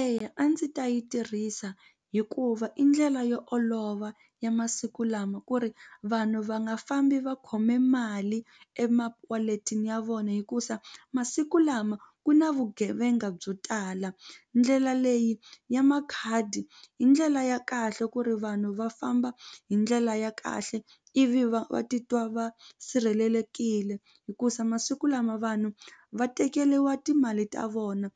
Eya a ndzi ta yi tirhisa hikuva i ndlela yo olova ya masiku lama ku ri vanhu va nga fambi va khome mali emawaletini ya vona hikusa masiku lama ku na vugevenga byo tala ndlela leyi ya makhadi i ndlela ya kahle ku ri vanhu va famba hi ndlela ya kahle ivi va va titwa va sirhelelekile hikusa masiku lama vanhu va tekeriwa timali ta vona